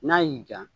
N'a y'i ja